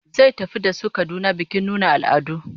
Zai tafi da su Kaduna bikin nunin al'adu